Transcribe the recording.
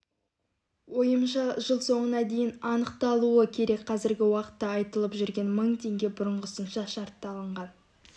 ойымша жыл соңына дейін анықталуы керек қазіргі уақытта айтылып жүрген мың теңге бұрынғысынша шартты алынған